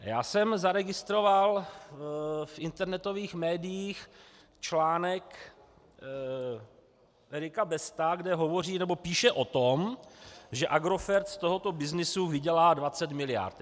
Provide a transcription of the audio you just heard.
Já jsem zaregistroval v internetových médiích článek Erika Besta, kde hovoří, nebo píše o tom, že Agrofert z tohoto byznysu vydělá 20 miliard.